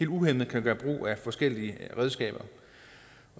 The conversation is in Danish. uhæmmet kan gøres brug af forskellige redskaber